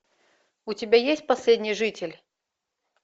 у тебя есть последний житель